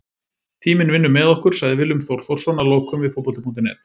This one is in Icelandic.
Tíminn vinnur með okkur, sagði Willum Þór Þórsson að lokum við Fótbolti.net.